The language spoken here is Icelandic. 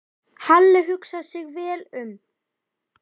Halli hugsaði sig vel um.